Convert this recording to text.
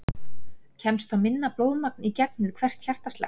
Kemst þá minna blóðmagn í gegn við hvert hjartaslag.